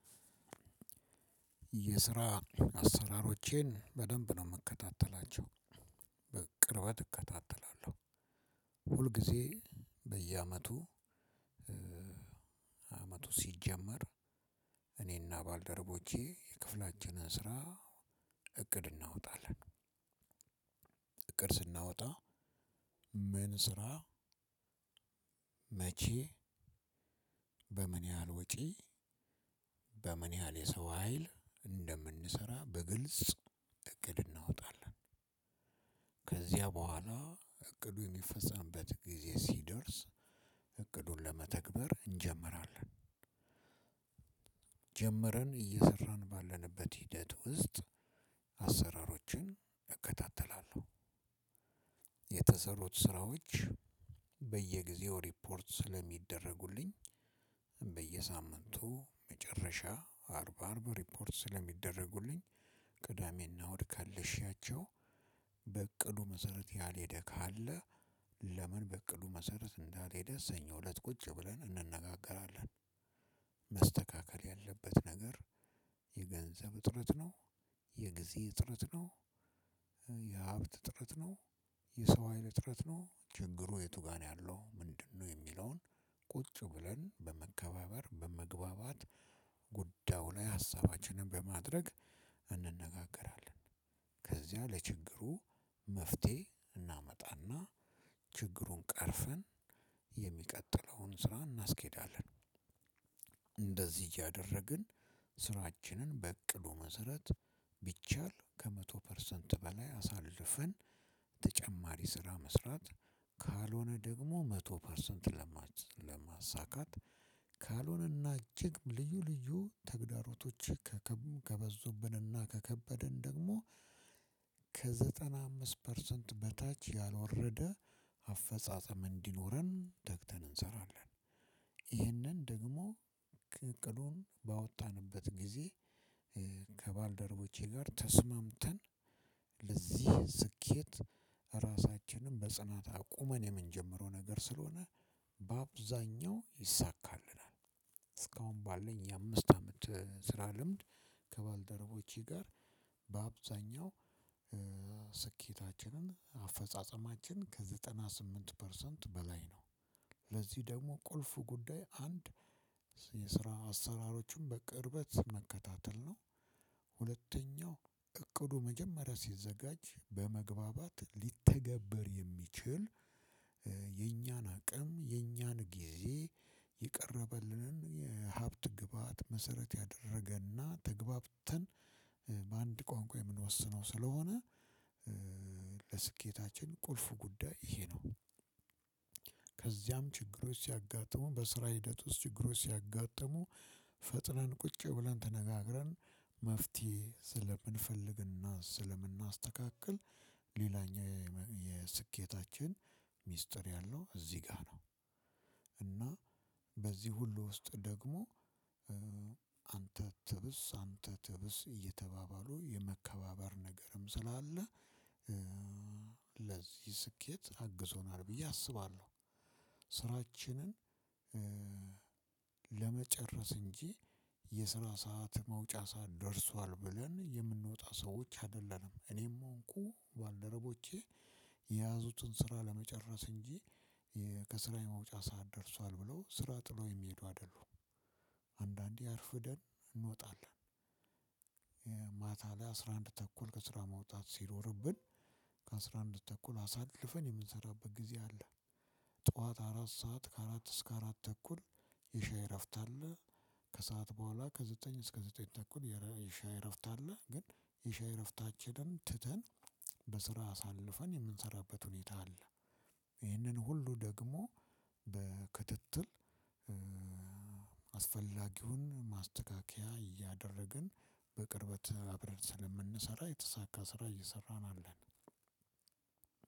የስራ አስራሮቼን በደንብ ነው የምከታተላቸው በቅርበት እከታተላለሁ። ሁልጊዜ በየአመቱ። አመቱ ሲጀመር እኔና ባልደረቦቼ የክፍላችንን ስራ እቅድ እናወጣለን። እቅድ ስናወጣ ምን ስራ? መቼ? በምን ያህል ወጪ? በምን ያህል የሰው ሀይል እንደምንሰራ በግልጽ እቅድ እናወጣለን። ከዚያ በኋላ እቅዱ የሚፈጸምበት ጊዜ ሲደርስ እቅዱን ለመተግበር እንጀምራለን። ጀመርን እየሰራን ባለንበት ሂደት ውስጥ አሰራሮችን እከታተላለሁ። የተሰሩት ስራዎች በየግዜው ረፖርት ስለሚደረጉልኝ በየሳምንቱ መጨረሻ አርብ አርብ ረፖርት ስለሚደረጉልኝ። ቅዳሜና እሁድ ከልሻቸው። በእቅዱ መሰረት ያልሄደ ካለ ለምን በእቅዱ መሰረት እንዳልሄደ ሰኞ እለት ቁጭ ብለን እንነጋገራለን። መስተካከል ያለበት ነገር የገንዘብ እጥረት ነው። የጊዜ እጥረት ነው። የሀብት እጥረት ነው። የሰው ሀይል እጥረት ነው ችግሩ የቱ ጋር ነው ያለው ምንድነው? የሚለውን ቁጭ ብለን በመከባበር በመግባባት ጉዳዩ ላይ ሀሳባችንን በማድረግ እንነጋገራለን። ከዚያ ለችግሩ መፍትሄ እናመጣና ችግሩን ቀርፈን የሚቀጥለውን ስራ እናስኬዳለን። እንደዚህ እያደረግን ስራችንን በእቅዱ መሰረት ቢቻል ከመቶ ፐርሰንት በላይ አሳልፈን ተጨማሪ ስራ መስራት ካልሆነ ደግም መቶ ፐርሰንት ለማሳካት ካልሆነ እና እጅግ ልዩ ልዩ ተግዳሮቶች ከበዙብን እና ከከበደን ደግሞ ከዘጠና አምስት ፐርሰንት በታች ያልወረደ አፈጻጸም እንዲኖረን ተግተን አንሰራለን። ይህንን ደግሞ እቅዱን ባወጣንበት ጊዜ ከባልደረቦቼ ጋር ተስማምተን ለዚህ ስኬት ራሳችንን በጽናት አቁመን የምንጀምረው ነገር ስለሆነ በአብዛኛው ይሳካልናል። እስካሁን ባለኝ የአምስት አመት ስራ ልምድ ከባልደረቦቼ ጋር በአብዛኛው ስኬታችንን አፈጻጸማችን ከዘጠና ስምንት ፐርሰንት በላይ ነው። ለዚህ ደግሞ ቁልፉ ጉዳይ አንድ የስራ አሰራሮችን በቅርበት መከታተል ነው። ሁለተኛው እቅዱ መጀመሪያ ሲዘጋጅ በመግባባት ሊተገበር የሚችል የኛን አቅም የኛን ጊዜ የቀርበልንን የሀብት ግብአት መሰረት ያደረገና ተግባብተን በአንድ ቋንቋ የምንወስነው ስለሆነ። ለስኬታችን ቁልፍ ጉዳይ ይሄ ነው። ከዚያም ችግሮች ሲያጋጥሙ በስራ ሂደት ውስጥ ችግሮች ሲያጋጥሙ ፈጥነን ቁጭ ብለን ተነጋግረን መፍትሄ ስለምንፈልግና ስለምናስተካክል ሌላኛው የስኬታችን ሚስጥር ያለው እዚህ ጋር ነው። እና በዚህ ሁሉ ውስጥ ደግሞ አንተ ትብስ አንተ ትብስ እየተባባሉ የመከባበር ነገርም ስላለ ለዚህ ስኬት አግዞናል ብዬ አስባለሁ። ስራችንን ለመጨረስ እንጂ የስራ ሰዓት መውጫ ሰዓት ደርሷል ብለን የምንወጣ ሰዎች አይደለንም። እኔም ሆንኩ ባልደረቦቼ የያዙትን ስራ ለመጨረስ እንጂ ከስራዬ መውጫ ሰዓት ደርሷል ብለው ስራ ጥለው የሚሄዱ አይደሉም። አንዳንዴ አርፍደን እንወጣለን። ማታ ላይ አስራ አንድ ተኩል ከስራ መውጣት ሲኖርብን ከአስራ አንድ ተኩል አሳልፈን የምንሰራበት ጊዜ አለ። ጠዋት አራት ሰዓት ከአራት እስከ አራት ተኩል የሻይ እረፍት አለ። ከሰአት በኋላ ከዘጠኝ እስከ ዘጠኝ ተኩል የሻይ እረፍት አለ። ግን የሻይ እረፍታችንን ትተን በስራ አሳልፈን የምንሰራበት ሁኔታ አለ። ይህንን ሁሉ ደግሞ በክትትል አስፈላጊውን ማስተካከያ እያደረግን በቅርበት አብረን ስለምንሰራ የተሳካ ስራ እየሰራን አለን።